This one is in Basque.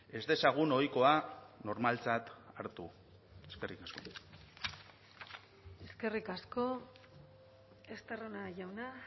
ez dezagun ohikoa normaltzat hartu eskerrik asko eskerrik asko estarrona jauna